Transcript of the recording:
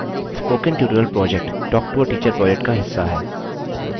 spoken tutorial project talktoateacher project का हिस्सा है